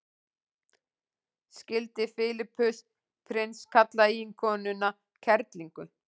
skildi filippus prins kalla eiginkonuna kerlingu